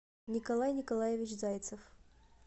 николай николаевич зайцев